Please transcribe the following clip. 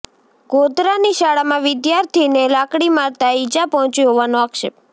ગોધરાની શાળામાં વિદ્યાર્થીને લાકડી મારતા ઇજા પહોંચી હોવાનો આક્ષેપ